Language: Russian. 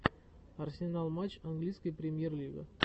арсенал матч английской премьер лига